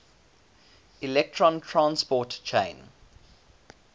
electron transport chain